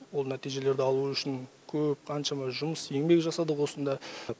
ол нәтижелерді алу үшін көп қаншама жұмыс еңбек жасадық осында